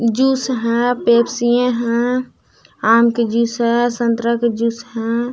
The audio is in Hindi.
जूस हैं पेप्सीए हैं आम के जूस है संतरा के जूस हैं।